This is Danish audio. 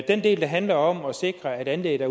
den del der handler om at sikre at anlæggene